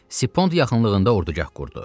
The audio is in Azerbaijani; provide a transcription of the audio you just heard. Sipond yaxınlığında ordugah qurdu.